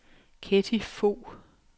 Ketty Fogh